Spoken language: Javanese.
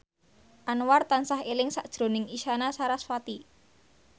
Anwar tansah eling sakjroning Isyana Sarasvati